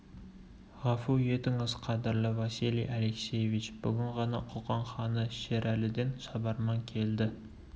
ғафу етіңіз қадірлі василий алексеевич бүгін ғана қоқан ханы шерәліден шабарман келді